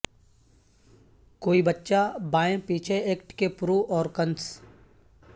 کوئی بچہ بائیں پیچھے ایکٹ کے پرو اور کنس